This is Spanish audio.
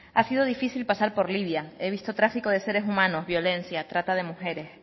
ha sido difícil pasar por libia he visto tráfico de seres humanos violencia trata de mujeres